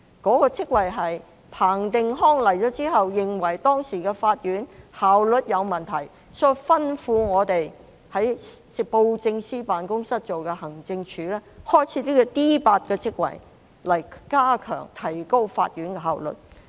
該職位是彭定康上任後，認為當時的法院效率有問題，所以吩咐我們在當時的布政司辦公室轄下的行政署，開設這個 D8 級別的職位，以加強及提高法院的效率。